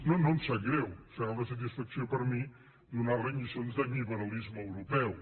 no no em sap greu serà una satisfacció per a mi donar li lliçons de liberalisme europeu